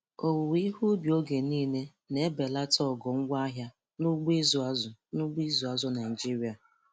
Owuwe ihe ubi oge niile na-ebelata ogo ngwaahịa n'ugbo ịịzụ azụ̀ n'ugbo ịịzụ azụ̀ Naịjiria.